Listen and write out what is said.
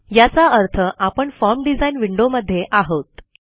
याचा अर्थ आपण फॉर्म डिझाइन विंडोमध्ये आहोत